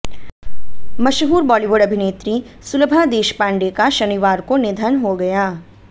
मशहूर बॉलीवुड अभिनेत्री सुलभा देशपांडे का शनिवार को निधन हो गया